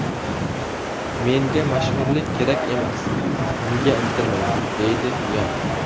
Menga mashhurlik kerak emas, unga intilmayman”, deydi Yan.